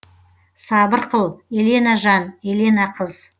сабыр қыл елена жан елена қыз